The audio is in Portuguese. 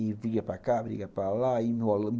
E briga para cá, briga para lá.